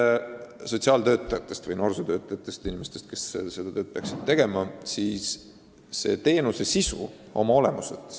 Nüüd sotsiaaltöötajatest või noorsootöötajatest – inimestest, kes seda tööd peaksid tegema.